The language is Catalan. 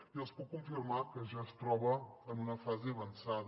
i els puc confirmar que ja es troba en una fase avançada